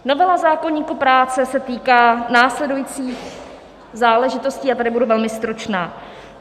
Novela zákoníku práce se týká následujících záležitostí - a tady budu velmi stručná.